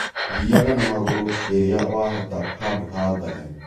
Thiaga na magũrũ rĩrĩa wahota handu ha ngari